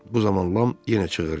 Bu zaman Lam yenə çığırdı.